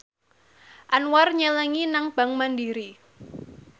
Anwar nyelengi nang bank mandiri